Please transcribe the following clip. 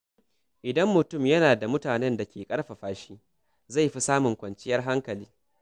Idan mutum yana da mutanen da ke ƙarfafa shi, zai fi samun kwanciyar hankali.